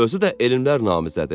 Özü də elmlər namizədi.